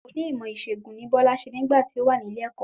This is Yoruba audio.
Oní ìmọ̀ ìṣẹ̀gùn ni Bola ṣe nígbà tí o wa nílé ẹ̀kọ́